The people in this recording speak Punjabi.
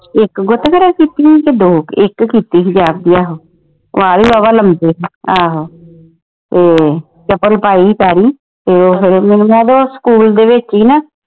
ਇਕ ਗੁੱਤ ਖਰਿਆ ਕੀਤੀ ਹੀ ਕੇ ਦੋ ਇਕ ਕੀਤੀ ਹੀ ਜਾਪਦੀ ਆਹੋ ਵਾਲ ਵੀ ਵਾਵਾ ਲੰਬੇ ਹੀ ਤੇ ਚਪਲ ਪਾਈ ਹੀ ਪੈਰੀ ਤੇ ਉਹ ਫਿਰ ਮੈਨੂੰ ਜਾਪਦਾ ਉਹ ਸਕੂਲ ਦੇ ਵਿਚ ਈ ਨਾ